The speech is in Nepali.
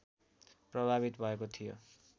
प्रभावित भएको थियो